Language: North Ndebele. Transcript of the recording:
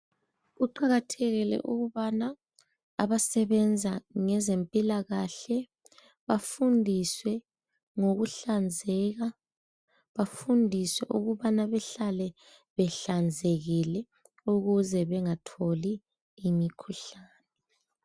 Kuqakathekile ukubana abasebenza ngezempilakahle bafundiswe ngokuhlanzeka, bafundiswe ukubana behlale behlanzekile ukuze bengatholi imikhuhlane.